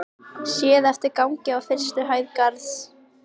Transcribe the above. Séð eftir gangi á fyrstu hæð Garðs.